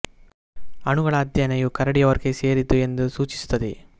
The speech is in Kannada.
ಅಣುಗಳ ಅಧ್ಯಯನ ಇವು ಕರಡಿಯ ವರ್ಗಕ್ಕೆ ಸೇರಿದ್ದು ಎಂದು ಸೂಚಿಸುತ್ತದೆ